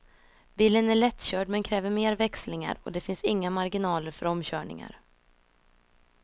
Bilen är lättkörd men kräver mer växlingar, och det finns inga marginaler för omkörningar.